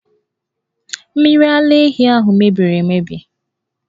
Mmiri ara ehi ahụ mebiri emebi!